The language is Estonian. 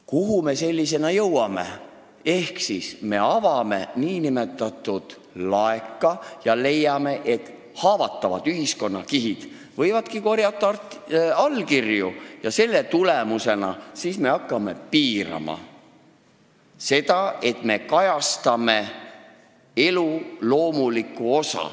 Kuhu me jõuame, kui me avame nn laeka ja leiame, et haavatavad ühiskonnakihid võivadki korjata allkirju, mille tulemusena me hakkame piirama elu loomuliku osa kajastamist?